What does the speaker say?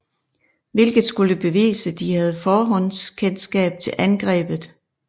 Hvilket skulle bevise de have forhåndskendskab til angrebet